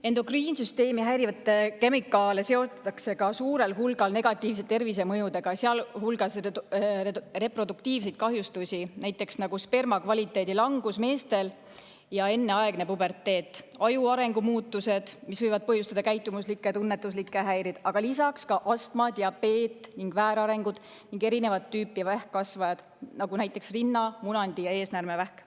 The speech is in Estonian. Endokriinsüsteemi häirivaid kemikaale seostatakse ka suure hulga negatiivsete tervisemõjudega, sealhulgas reproduktiivsed kahjustused, nagu näiteks sperma kvaliteedi langus meestel ja enneaegne puberteet, aju arengu muutused, mis võivad põhjustada käitumuslikke ja tunnetuslikke häireid, aga lisaks ka astma, diabeet, väärarengud ning erinevat tüüpi vähkkasvajad, nagu näiteks rinna‑, munandi‑ ja eesnäärmevähk.